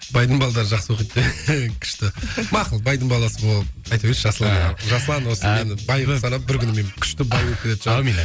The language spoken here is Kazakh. байдың балалары жақсы оқиды күшті мақұл байдың баласы болып айта берейінші жасұлан жасұлан осы мені бай қылып санап бір күні мен күшті бай болып кететін шығармын аумин